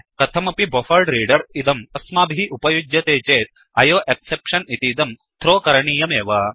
कथमपि buffered reader buffered reader इदं अस्माभिः उपयुज्यते चेत् आयोएक्सेप्शन ऐ ओ एक्सेप्शन् इतीदं थ्रो थ्रो करणीयमेव